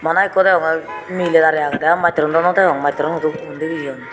bana ikko degongey miley darey agedey aa mastawruno naw degong mastawrun hudu hundi jeyon.